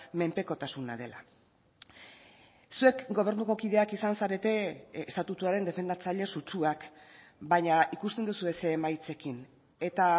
menpekotasuna dela zuek gobernuko kideak izan zarete estatutuaren defendatzaile sutsuak baina ikusten duzue ze emaitzekin eta